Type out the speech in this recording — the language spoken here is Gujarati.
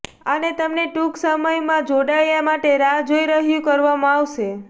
અને તમને ટૂંક સમયમાં જોડાયા માટે રાહ જોઈ રહ્યું કરવામાં આવશે